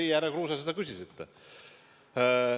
Teie, härra Kruuse, seda küsisite.